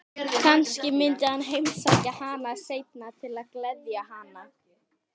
Kannski myndi hann heimsækja hana seinna til að gleðja hana.